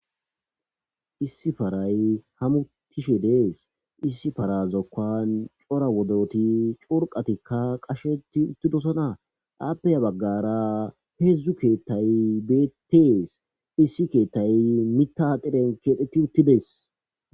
Issi paray hamutishe dees issi fara zokkan cora wodoti curqatikka qasheti uttidosona aappeya baggara heedzdzu keettay beetees issi keettay mitadiren keedeti uttidees.